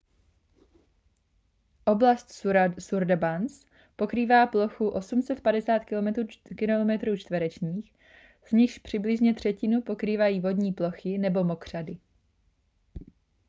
oblast sundarbans pokrývá plochu 3 850 km² z nichž přibližně třetinu pokrývají vodní plochy nebo mokřady